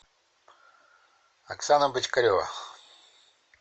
оксана бочкарева